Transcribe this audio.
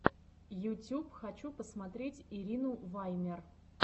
ютюб хочу посмотреть ирину ваймер